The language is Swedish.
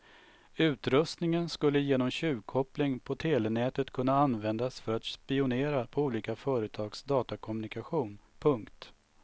Utrustningen skulle genom tjuvkoppling på telenätet kunna användas för att spionera på olika företags datakommunikation. punkt